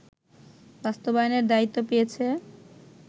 বাস্তবায়নের দায়িত্ব পেয়েছে